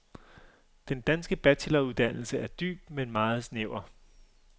Den danske bacheloruddannelse er dyb, men meget snæver.